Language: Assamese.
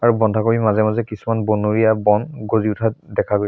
আৰু বন্ধাকবিৰ মাজে মাজে কিছুমান বনৰীয়া বন গজি উঠা দেখা গৈ--